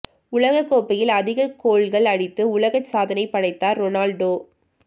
உலக கோப்பையில் அதிக கோல்கள் அடித்து உலக சாதனை படைத்தார் ரொனால்டோ